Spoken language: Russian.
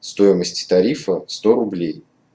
стоимости тарифа сто рублей